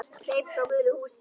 Hleyp frá gulu húsinu.